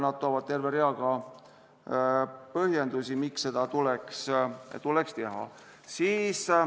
Nad toovad terve rea põhjendusi, miks seda tuleks teha.